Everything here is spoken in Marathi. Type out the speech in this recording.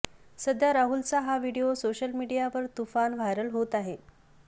सध्या राहुलचा हा व्हिडिओ सोशल मीडियावर तुफान व्हायरल होत आहे